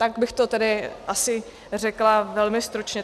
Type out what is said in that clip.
Tak bych to tedy asi řekla velmi stručně.